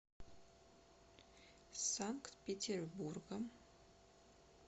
санкт петербургом